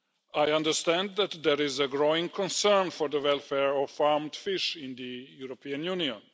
I understand that there is a growing concern for the welfare of farmed fish in the European Union.